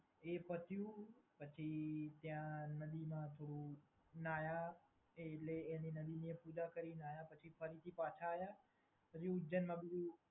એ પત્યું, પછી ત્યાં નદીમાં થોડું નાયા એટલે એ નદીની પૂજા કારીને નાયા પછી ફરીથી પાછા આયા પછી ઉજ્જૈન અને એ બધુ